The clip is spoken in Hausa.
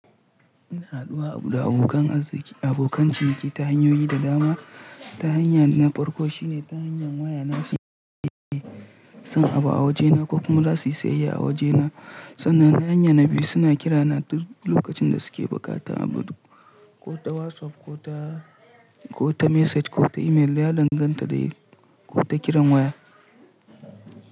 Ina haɗuwa da abokan arziki abokan ciniki ta hanyoyi da dama. Ta hanyar na farko shine ta hanyar waya, nashi iya son abu a wajena ko kuma za su yi sayayya a wajena. Sannan ta hanyar na biyu suna kira na duk lokacin da suke buƙata abu duk ko ta WhatsApp ko ta message ko ta email da ya danganta dai ko ta kiran waya.